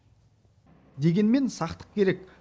дегенмен сақтық керек